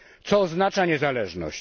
Co oznacza niezależność?